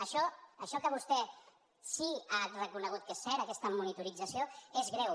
això això que vostè sí que ha reconegut que és cert aquesta monitorització és greu